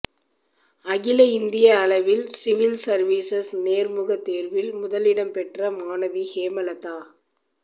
அகில இந்திய அளவில் சிவில் சர்வீசஸ் நேர்முக தேர்வில் முதலிடம் பெற்ற மாணவி ஹேமலதா